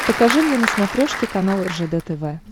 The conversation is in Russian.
покажи мне на смотрешке канал ржд тв